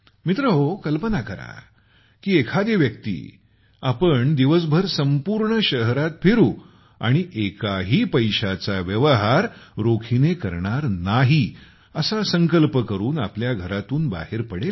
मित्रहो कल्पना करा की एखादी व्यक्ती आपण दिवसभर संपूर्ण शहरात फिरू आणि एकाही पैशाचा व्यवहार रोखीने करणार नाही असा संकल्प करून आपल्या घरातून बाहेर पडेल